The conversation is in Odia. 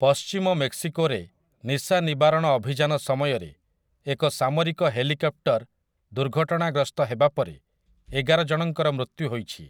ପଶ୍ଚିମ ମେକ୍ସିକୋରେ ନିଶାନିବାରଣ ଅଭିଯାନ ସମୟରେ ଏକ ସାମରିକ ହେଲିକପ୍ଟର ଦୁର୍ଘଟଣାଗ୍ରସ୍ତ ହେବା ପରେ ଏଗାର ଜଣଙ୍କର ମୃତ୍ୟୁ ହୋଇଛି ।